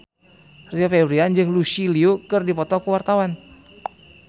Rio Febrian jeung Lucy Liu keur dipoto ku wartawan